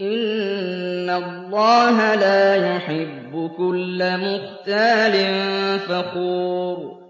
إِنَّ اللَّهَ لَا يُحِبُّ كُلَّ مُخْتَالٍ فَخُورٍ